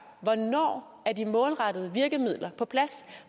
hvornår er de målrettede virkemidler på plads